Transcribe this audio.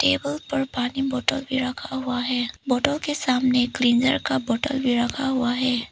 Table पर पानी बोतल भी रखा हुआ है। बोतल के सामने क्लींजर का बोतल भी रखा हुआ है।